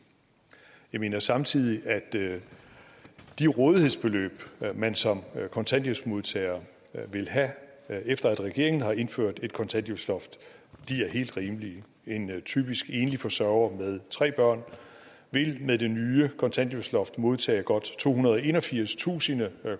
jeg mener samtidig at de rådighedsbeløb man som kontanthjælpsmodtager vil have efter at regeringen har indført et kontanthjælpsloft er helt rimelige en typisk enlig forsørger med tre børn vil med det nye kontanthjælpsloft modtage godt tohundrede og enogfirstusind